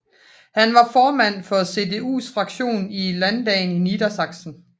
Han var formand for CDUs fraktion i landdagen i Niedersachsen